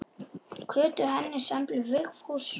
Kötu, Hannes, Emblu, Vigfús.